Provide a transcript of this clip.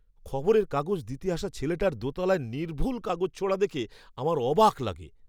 খবরের কাগজ দিতে আসা ছেলেটার দোতলায় নির্ভুল কাগজ ছোঁড়া দেখে আমার অবাক লাগে!